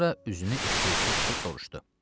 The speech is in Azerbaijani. Sonra üzünü eşşəkçiyə tutub soruşdu: